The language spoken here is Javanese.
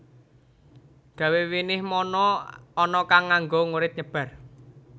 Gawe winih mono ana kang nganggo ngurit nyebar